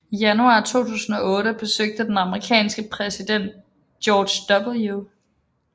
I januar 2008 besøgte den amerikanske præsident George W